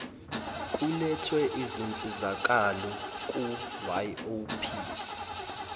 kulethwe izinsizakalo kuyop